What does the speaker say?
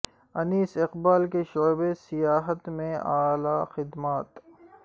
انیس اقبال کی شعبہ سیاحت میں اعلی خدمات